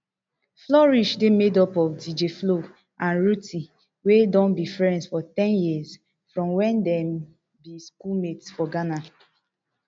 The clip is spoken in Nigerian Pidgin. flourish dey made up of dj flo and rhuthee wey don be friends for ten years from wen dem be schoolmates for ghana